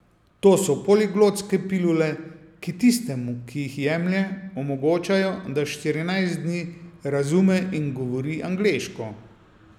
To so poliglotske pilule, ki tistemu, ki jih jemlje, omogočajo, da štirinajst dni razume in govori angleško.